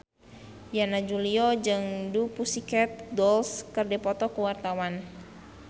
Yana Julio jeung The Pussycat Dolls keur dipoto ku wartawan